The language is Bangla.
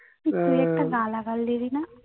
তুই একটা গালাগাল দিলিনা